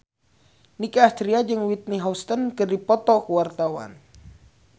Nicky Astria jeung Whitney Houston keur dipoto ku wartawan